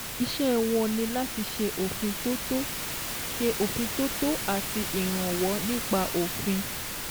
Iṣẹ́ wọn ní láti ṣe òfintótó ṣe òfintótó àti ìrànwọ́ nípa òfin